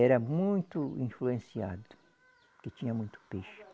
Era muito influenciado, porque tinha muito peixe.